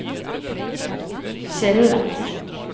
skille